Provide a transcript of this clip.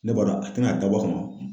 Ne b'a dɔn a tɛna da bɔ a kama